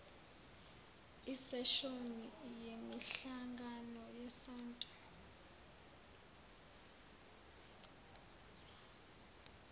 iseshoni yemihlangano yesonto